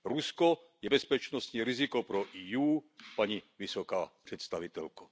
Rusko je bezpečnostní riziko pro EU, paní vysoká představitelko.